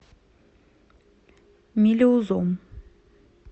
мелеузом